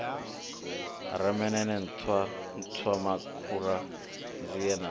nemeneme nṱhwa nṱhwamakhura nzie na